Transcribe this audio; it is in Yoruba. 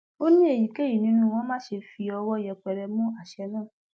ó ní kí èyíkéyìí nínú wọn má ṣe fi ọwọ yẹpẹrẹ mú àṣẹ náà